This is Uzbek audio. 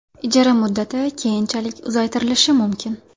Ijara muddati keyinchalik uzaytirilishi mumkin.